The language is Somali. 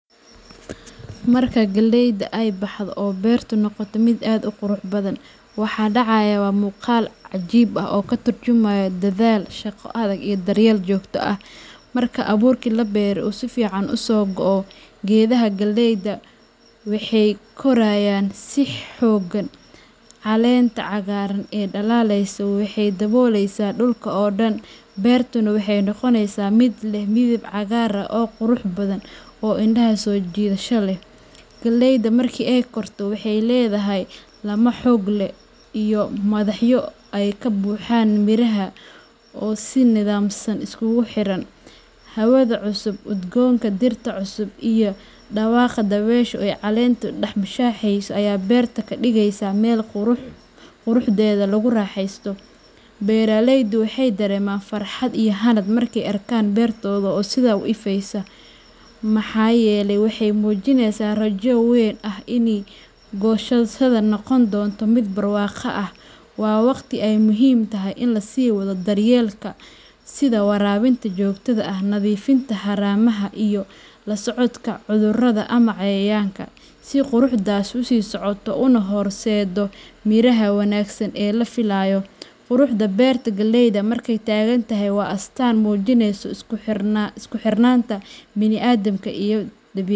Marka galleyda ay baxdo oo beertu noqoto mid aad u qurux badan, waxa dhacaya waa muuqaal cajiib ah oo ka turjumaya dadaal, shaqo adag, iyo daryeel joogto ah. Marka abuurkii la beeray uu si fiican u soo go'o, geedaha galleyda waxay korayaan si xooggan, caleenta cagaaran ee dhalaalaysa waxay daboolaysaa dhulka oo dhan, beertuna waxay noqonaysaa mid leh midab cagaar ah oo qurux badan oo indhaha soo jiidasho leh. Galleyda marka ay korto, waxay leedahay laamo xoog leh iyo madaxyo ay ka buuxaan miraha oo si nidaamsan isugu xiran. Hawada cusub, udgoonka dhirta cusub, iyo dhawaaqa dabaysha oo caleenta dhex mushaaxaysa ayaa beerta ka dhigaya meel quruxdeeda lagu raaxaysto. Beeraleydu waxay dareemaan farxad iyo hanad markay arkaan beertooda oo sidan u ifaysa, maxaa yeelay waxay muujinaysaa rajo weyn oo ah in goosashada noqon doonto mid barwaaqo ah. Waa waqti ay muhiim tahay in la sii wado daryeelka, sida waraabinta joogtada ah, nadiifinta haramaha, iyo la socodka cudurrada ama cayayaanka, si quruxdaasi u sii socoto una horseedo miraha wanaagsan ee la filayo. Quruxda beerta galleyda markay taagan tahay waa astaan muujinaysa isku xirnaanta bani’aadamka iyo.